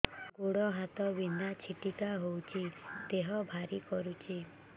ଗୁଡ଼ ହାତ ବିନ୍ଧା ଛିଟିକା ହଉଚି ଦେହ ଭାରି କରୁଚି